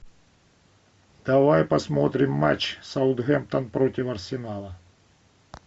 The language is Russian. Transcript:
давай посмотрим матч саутгемптон против арсенала